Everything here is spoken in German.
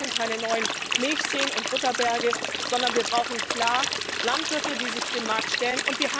Wir brauchen keine neuen Milchseen und Butterberge, sondern wir brauchen klar Landwirte, die sich dem Markt stellen.